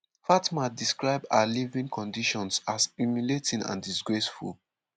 fatma describe her living conditions as “humiliating and disgraceful”.